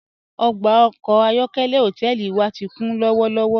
Ogba ọkọ ayọ̀kẹ̀lẹ̀ hotẹẹli wa ti kun lọwọlọwọ.